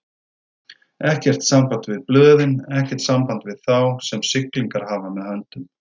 Ekkert samband við blöðin, ekkert samband við þá, sem siglingar hafa með höndum.